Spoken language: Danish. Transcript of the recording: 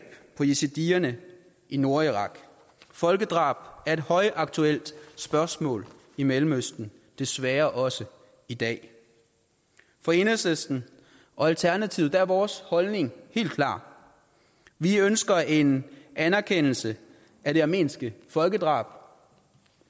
på yazidierne i nordirak folkedrab er et højaktuelt spørgsmål i mellemøsten desværre også i dag for enhedslisten og alternativet er vores holdning helt klar vi ønsker en anerkendelse af det armenske folkedrab